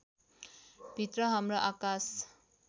भित्र हाम्रो आकाश